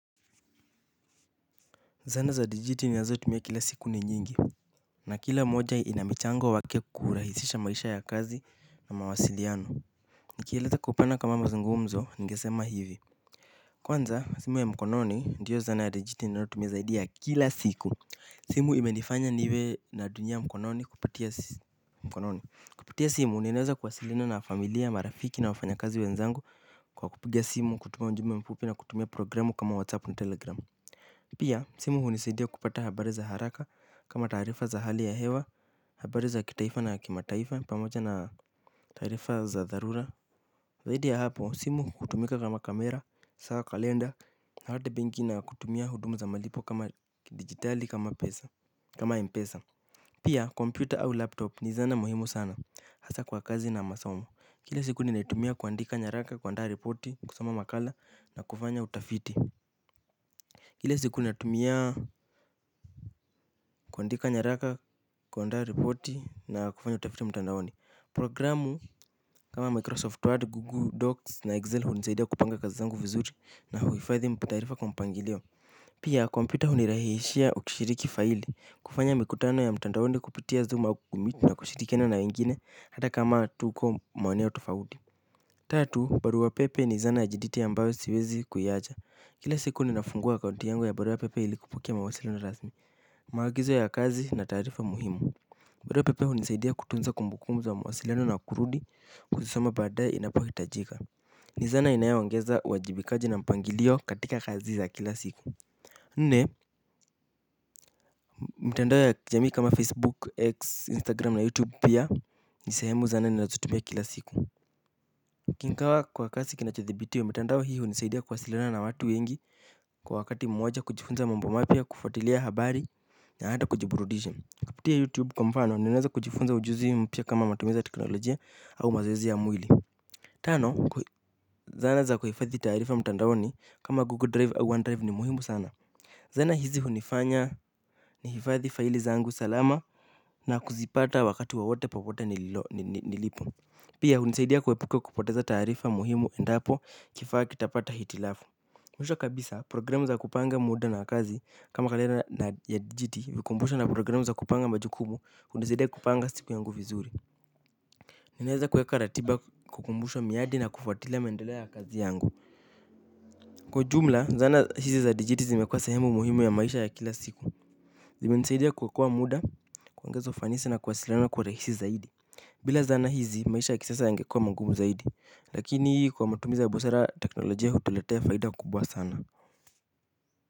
Zana za digiti ninazo tumie kila siku ni nyingi na kila mmoja ina michango wake kurahisisha maisha ya kazi na mawasiliano. Nikieleza kwa mapana kama mazungumzo ningesema hivi. Kwanza, simu ya mkononi ndiyo zana ya digiti ninao tumie zaidi ya kila siku. Simu imenifanya niwe natumi mkononi kupatia simu. Kupatia simu, ninaweza kwasiliana na familia, marafiki na wafanya kazi wenzangu kwa kupiga simu, kutuma ujumbe mfupi na kutumia programu kama WhatsApp na Telegram. Pia simu hunisaidia kupata habari ya haraka kama taarifa za habari za hewa habari ya kitaifa na kimataifa taarifa za dharura. Zaidi ya hapo simu hutumika kama kamera, saa kalenda na hata benki na kutumia huduma za malipo kama kidigitali kama pesa kama mpesa. Pia kompyuta au laptop ni zana muhimu sana hasa kwa kazi na masomo kila siku ninaitumia kuandika nyaraka kuandaa reporti kusoma makala na kufanya utafiti. Kila siku natumia kuandika nyaraka, kuandaa ripoti na kufanya utafiti mtandaoni. Programu kama Microsoft Word, Google Docs na Excel hunisaidia kupanga kazi zangu vizuri na huhifadhi taarifa kwa mpangilio. Pia kompyuta hunirahishia ukishiriki faili, kufanya mikutano ya mtandaoni kupitia zoom Google meet na kushirikiana na wengine hata kama tuko maeneo tofauti. Tatu, barua pepe ni zana ya jiditi ambayo siwezi kuiacha. Kile siku ninafungua akaunti yangu ya baruapepe ili kupokea mawasiliano rasmi. Maagizo ya kazi na taarifa muhimu barua pepe hunisaidia kutunza kumbukumbu za wa mawasiliano na kurudi kuzisoma baadaye inapohitajika ni zana inayo ongeza uwajibikaji na mpangilio katika kazi za kila siku nne mtandao ya kijamii kama facebook x instagram na youtube pia ni sehemu sana niinazotumia kila siku ingaw kwa kazi kinachothibitiwa mtandao hii hunisaidia kuwasiliana na watu wengi kwa wakati moja kujifunza mambo mapya kufuatilia habari. Na hata kujiburudisha. Kupitia YouTube kwa mfano, ninaweza kujifunza ujuzi mpya kama matumizi ya teknolojia au mazoezi ya mwili. Tano, zana za kuhifadhi taarifa mtandaoni kama Google Drive au OneDrive ni muhimu sana. Zana hizi hunifanya nihifadhi faili zangu salama na kuzipata wakati wowote popote nilipo. Pia hunisaidia kuepuke kupoteza taarifa muhimu endapo kifaa kitapata hitilafu. Mwisho kabisa programu za kupanga muda na kazi kama kalenda ya dijiti vikumbusho na programu za kupanga majukumu hunisaidia kupanga siku yangu vizuri. Ninaweza kuweka ratiba kukumbusha miadi na kufuatila mendeleo ya kazi yangu. Kwa ujumla zana hizi za dijiti zimekuwa sehemu muhimu ya maisha ya kila siku. Zimenisaidia kuokoa muda kuoengeza ufanisi na kuwasilana kuwa rahisi zaidi. Bila zana hizi maisha ya kisasa yangekuwa mangumu zaidi lakini hii kwa matumiza ya busara teknolojia hutulatea faida kubwa sana.